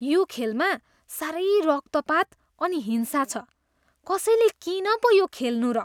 यो खेलमा साह्रै रक्तपात अनि हिंसा छ। कसैले किन पो यो खेल्नु र?